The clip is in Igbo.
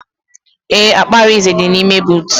Ee, akpa Arinze dị n'ime boot